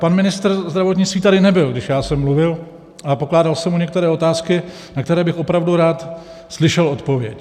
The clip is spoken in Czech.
Pan ministr zdravotnictví tady nebyl, když já jsem mluvil a pokládal jsem mu některé otázky, na které bych opravdu rád slyšel odpověď.